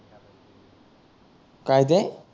काय ते